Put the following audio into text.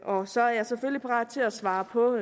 og så er jeg selvfølgelig parat til at svare på